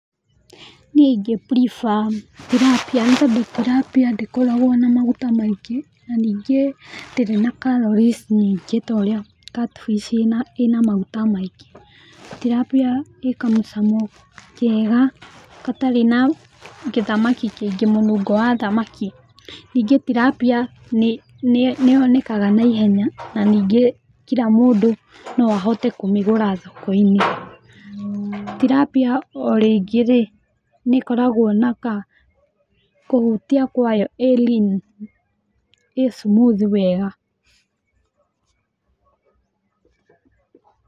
Niĩ ingĩ prefer Tilapia nĩ tondu Tilapia ndĩkoragwo na maguta maingĩ na ningĩ ndĩrĩ na calories nyingĩ ta ũrĩa catfish ĩrĩ na maguta maingĩ. Tilapia ĩĩ kamũcamo kega gatarĩ na gĩthamaki kĩngĩ mũnungo wa thamaki. Nĩngĩ Tilapia nĩ yonekaga naihenya na ningĩ kira mũndũ no ahote kũmĩgũra thokoinĩ. Tilapia o ringĩ rĩĩ, nĩ ĩkoragwo na ka kũhutia kwayo ĩĩ lean ĩĩ smooth wega.